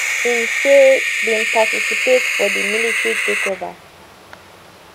im say bin participate for di military takeover